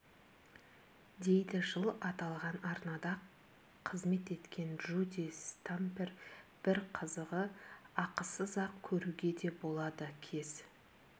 дейді жыл аталған арнада қызмет еткен джуди стампер бір қызығы ақысыз-ақ көруге де болады кез